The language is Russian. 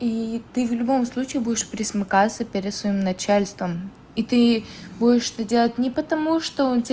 и ты в любом случае будешь пресмыкаться перед своим начальством и ты будешь это делать не потому что он те